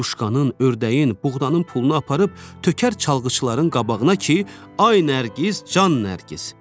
Hinduşkanın, ördəyin, buğdanın pulunu aparıb tökər çalğıçıların qabağına ki, ay Nərgiz, can Nərgiz.